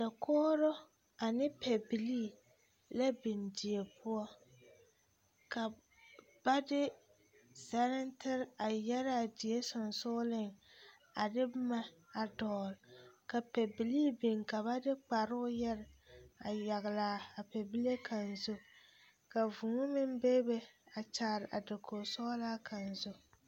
Dakogro ane pɛbilii la biŋ di poɔ ka ba de zɛrentere a yɛraa die sensogleŋ a de boma a dɔgle ka pɛbilii biŋ ka ba de kparoo yɛre a yaglaa pɛbile kaŋ zu ka vūū meŋ bebe a kyaare a dakogisɔglaa kaŋ zu.